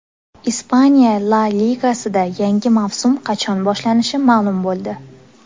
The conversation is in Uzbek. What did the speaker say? Ispaniya La Ligasida yangi mavsum qachon boshlanishi ma’lum bo‘ldi.